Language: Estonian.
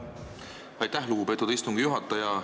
Aitäh, lugupeetud istungi juhataja!